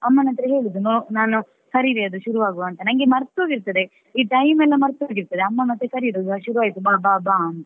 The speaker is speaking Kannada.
ಅಮ್ಮನ ಹತ್ರ ಹೇಳುದು ನನ್ನು ಕರೀರಿ ಅದು ಶುರುವಾಗುವಾಗ ಅಂತ ನಂಗೆ ಮರ್ತ್ ಹೋಗಿರುತ್ತದೆ ಈ time ಎಲ್ಲ ಮರ್ತ್ ಹೋಗಿರ್ತದೆ ಅಮ್ಮ ಮತ್ತೆ ಕರೆಯುದು ಶುರುವಾಯಿತು ಬಾ ಬಾ ಬಾ ಅಂತ.